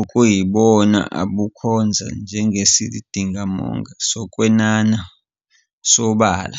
okuyibona obukhonza njengesizindamininingo sokwenanana sobala.